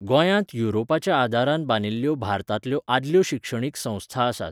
गोंयांत युरोपाच्या आदारान बांदिल्ल्यो भारतांतल्यो आदल्यो शिक्षणीक संस्था आसात.